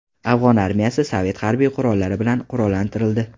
Afg‘on armiyasi Sovet harbiy qurollari bilan qurollantirildi.